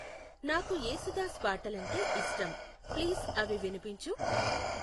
నాకు యేసుదాస్ పాటలు అంటే ఇష్టం ప్లీజ్ అవి వినిపించు